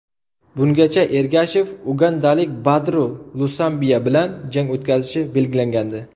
Bungacha Ergashev ugandalik Badru Lusambiya bilan jang o‘tkazishi belgilangandi.